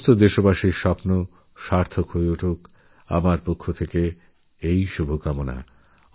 সমস্ত দেশবাসীর সমস্ত স্বপ্ন পূরণের শুভেচ্ছারইল আমার তরফ থেকে